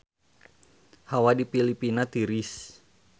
Hawa di Filipina tiris